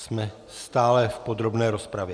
Jsme stále v podrobné rozpravě.